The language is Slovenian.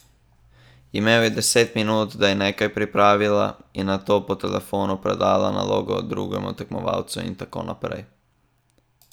Imel je deset minut, da je nekaj pripravila in nato po telefonu predala nalogo drugemu tekmovalcu in tako naprej.